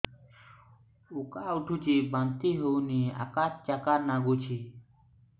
ଉକା ଉଠୁଚି ବାନ୍ତି ହଉନି ଆକାଚାକା ନାଗୁଚି